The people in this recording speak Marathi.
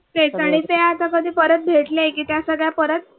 तेच आणि ते आता कधी परत भेटले की त्या सगळ्या परत